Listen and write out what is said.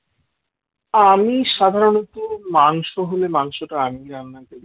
আমি সাধারণত মাংস হলে মাংসটা আমিই রান্না করি